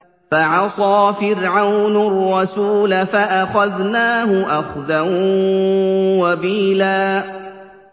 فَعَصَىٰ فِرْعَوْنُ الرَّسُولَ فَأَخَذْنَاهُ أَخْذًا وَبِيلًا